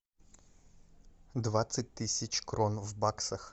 двадцать тысяч крон в баксах